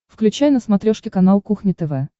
включай на смотрешке канал кухня тв